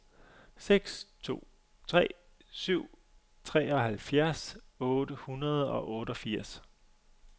seks to tre syv treoghalvfjerds otte hundrede og otteogfirs